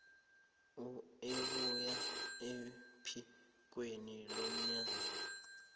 ebuya ephikweni lomnyango